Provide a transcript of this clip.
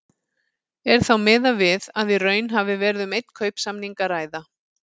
Er þá miðað við að í raun hafi verið um einn kaupsamning að ræða.